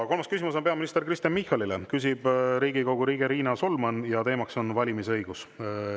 Kolmas küsimus on peaminister Kristen Michalile, küsib Riigikogu liige Riina Solman ja teema on valimisõigus.